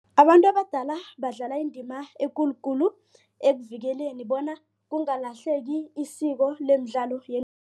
Abantu abadala badlala indima ekulukulu ekuvikeleni bona kungalahleki isiko lemidlalo